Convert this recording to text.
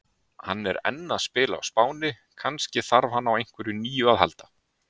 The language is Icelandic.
Hann er enn að spila á Spáni, kannski þarf hann á einhverju nýju að halda?